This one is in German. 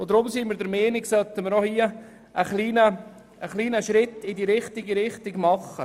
Deshalb sind wir der Meinung, das wir nun einen kleinen Schritt in die richtige Richtung tun sollten.